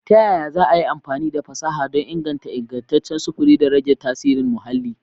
Ta yaya za a yi amfani da fasaha don inganta ingantaccen sufuri da rage tasirin muhalli?